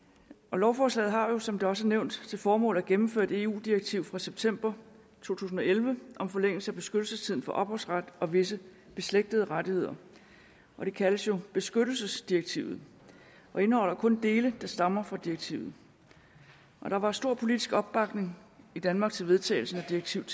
lovforslaget har jo som det også er nævnt til formål at gennemføre et eu direktiv fra september to tusind og elleve om forlængelse af beskyttelsestiden for ophavsret og visse beslægtede rettigheder det kaldes jo beskyttelsesdirektivet og indeholder kun dele der stammer fra direktivet der var stor politisk opbakning i danmark til vedtagelsen af direktivet